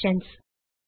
relations